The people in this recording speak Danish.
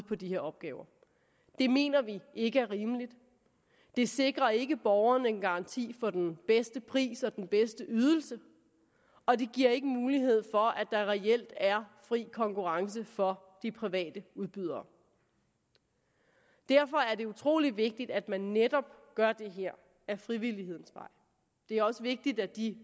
på de her opgaver det mener vi ikke er rimeligt det sikrer ikke borgerne en garanti for den bedste pris og den bedste ydelse og det giver ikke mulighed for at der reelt er fri konkurrence for de private udbydere derfor er det utrolig vigtigt at man netop gør det her ad frivillighedens vej det er også vigtigt at de